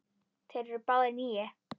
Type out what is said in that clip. Þeir eru báðir níu.